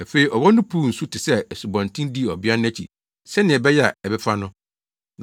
Afei ɔwɔ no puw nsu te sɛ asubɔnten dii ɔbea no akyi sɛnea ɛbɛyɛ a, ɛbɛfa no.